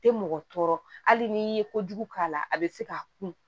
Tɛ mɔgɔ tɔɔrɔ hali n'i ye kojugu k'a la a bɛ se k'a kun